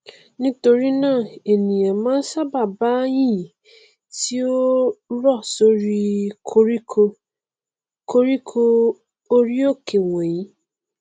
nítorínáà ènìà máa n ṣábàá bá yìnyín tí ó rọ sórí i koríko koríko orí òkè wọnyìi